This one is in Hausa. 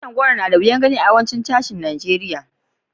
Tushin goro na da wiyan gani a yawancin sashin Nijeriya.